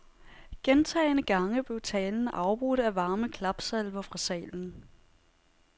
Gentagne gange blev talen afbrudt af varme klapsalver fra salen.